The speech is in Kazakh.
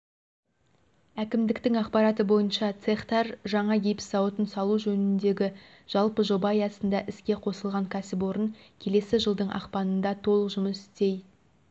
әкімдіктің ақпараты бойынша цехтар жаңа гипс зауытын салу жөніндегі жалпы жоба аясында іске қосылған кәсіпорын келесі жылдың ақпанында толық жұмыс істей